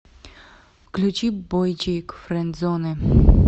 включи бойчик френдзоны